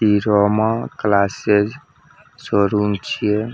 इ Roma classes showroom छीये।